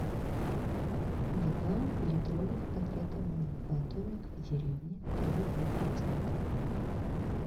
два литровых пакета молока домик в деревне три и два процента